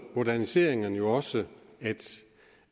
moderniseringer jo også det